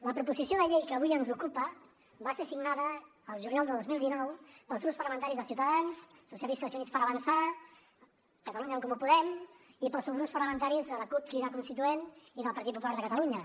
la proposició de llei que avui ens ocupa va ser signada el juliol de dos mil dinou pels grups parlamentaris de ciutadans socialistes i units per avançar catalunya en comú podem i pels subgrups parlamentaris de la cup crida constituent i del partit popular de catalunya